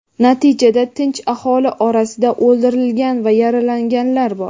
Natijada tinch aholi orasida o‘ldirilgan va yaralanganlar bor.